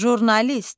Jurnalist.